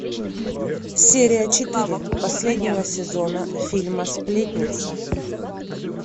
серия четыре последнего сезона фильма сплетница